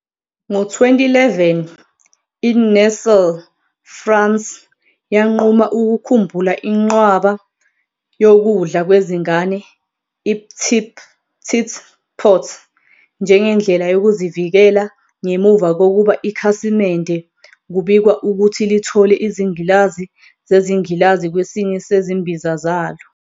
Ngo-2011, iNestlé France yanquma ukukhumbula inqwaba "yokudla kwezingane iP'tit pot" njengendlela yokuzivikela ngemuva kokuba ikhasimende kubikwa ukuthi lithole izingilazi zengilazi kwesinye sezimbiza zalo.